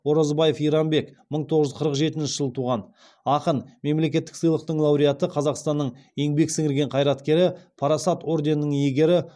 оразбаев иранбек мың тоғыз жүз қырық жетінші жылы туған ақын мемлекеттік сыйлықтың лауреаты қазақстанның еңбек сіңірген қайраткері парасат орденінің иегері